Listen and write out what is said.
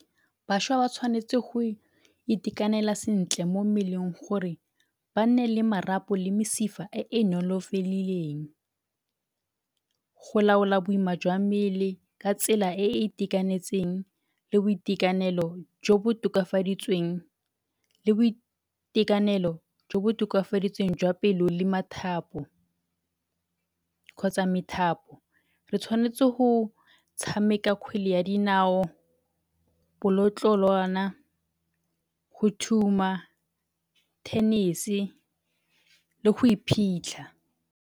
Bašwa ba tshwanetsi go itekanela sentle mo mmeleng gore ba nne le marapo le mesifa e e nolofedileng. Go laola boima jwa mmele ka tsela e e itekanetseng le boitekanelo jo bo tokafaditsweng, le boitekanelo jo bo tokafaditsweng jwa pelo le mathapo kgotsa methapo. Re tshwanetse go tshameka kgwele ya dinao, bolotloloana, go thuma, tennis-e le go iphitlha.